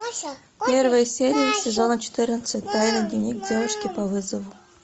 первая серия сезона четырнадцать тайный дневник девушки по вызову